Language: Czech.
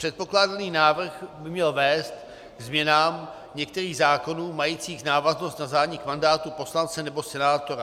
Předkládaný návrh by měl vést ke změnám některých zákonů majících návaznost na zánik mandátu poslance nebo senátora.